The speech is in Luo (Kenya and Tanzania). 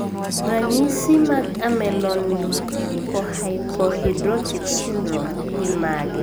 Ranyisi mag Ameloonychohypohidrotic syndrome gin mage?